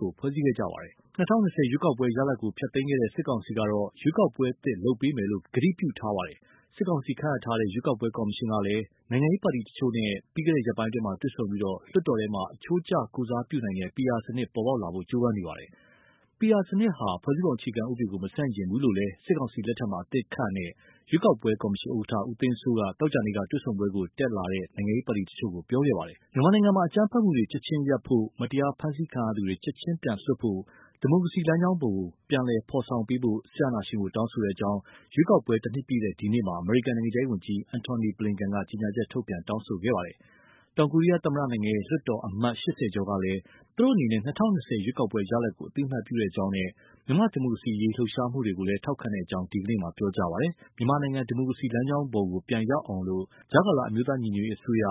ကို ဖွဲ့စည်းခဲ့ကြပါတယ်။ ၂၀၂၀ ရွေးကောက်ပွဲ ရလဒ်ကို ဖျက်သိမ်းခဲ့တဲ့ စစ်ကောင်စီကတော့ ရွေးကောက်ပွဲအသစ် လုပ်ပေးမယ်လို့ ကတိပြုထားပါတယ်။ စစ်ကောင်စီ ခန့်အပ်ထားတဲ့ ရွေးကောက်ပွဲကော်မရှင်ကလည်း နိုင်ငံရေးပါတီတချို့နဲ့ ပြီးခဲ့တဲ့ ရက်ပိုင်းတွေမှာ တွေ့ဆုံပြီး လွှတ်တော်ထဲမှာ အချိုးကျကိုယ်စားပြုနိုင်တဲ့ PR စနစ် ပေါ်ပေါက်လာဖို့ ကြိုးပမ်းနေပါတယ်။ PR စနစ်ဟာ ဖွဲ့စည်းပုံအခြေခံဥပဒေကို မဆန့်ကျင်ဘူးလို့လည်း စစ်ကောင်စီလက်ထက်မှာ အသစ်ခန့်အပ်ထားတဲ့ ရွေးကောက်ပွဲကော်မရှင် ဥက္ကဋ္ဌ ဦးသိန်းစိုးက သောကြာနေ့က တွေ့ဆုံပွဲကို တက်ရောက်လာတဲ့ နိုင်ငံရေးပါတီတချို့ကို ပြောကြားခဲ့ပါတယ်။ မြန်မာနိုင်ငံမှာ အကြမ်းဖက်မှုတွေ ချက်ချင်းရပ်ဖို့၊ မတရားဖမ်းဆီးခံရသူတွေ ချက်ချင်းပြန်လွှတ်ဖို့၊ ဒီမိုကရေစီလမ်းကြောင်းကို ပြန်ဖော်ဆောင်ပေးဖို့ စစ်အာဏာရှင်ကို တောင်းဆိုကြောင်း ရွေးကောက်ပွဲ တနှစ်ပြည့်တဲ့ ဒီနေ့မှာ အမေရိကန် နိုင်ငံခြားရေးဝန်ကြီး Antony J. Blinken က ကြေညာချက်ထုတ်ပြန် တောင်းဆိုခဲ့ပါတယ်။ တောင်ကိုရီးယားသမ္မတနိုင်ငံရဲ့ လွှတ်တော်က အမတ် ၈၀ ကျော်ကလည်း သူတို့အနေနဲ့ ၂၀၂၀ ရွေးကောက်ပွဲရလဒ်ကို အသိအမှတ်ပြုကြောင်းနဲ့ မြန်မာ့ဒီမိုကရေစီအရေး လှုပ်ရှားမှုတွေကိုလည်း ထောက်ခံကြောင်း ဒီနေ့မှာ ပြောကြားခဲ့ပါတယ်။ မြန်မာနိုင်ငံ ဒီမိုကရေစီလမ်းကြောင်းပေါ် ပြန်ရောက်အောင် အမျိုးသားညီညွတ်ရေးအစိုးရ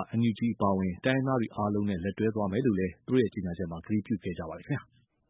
အပါအဝင် တိုင်းရင်းသားအားလုံးနဲ့ လက်တွဲသွားမယ်လို့လည်း သူတို့ကြေညာချက်မှာ ကတိပြုခဲ့ကြပါတယ်။